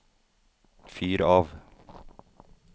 fyr av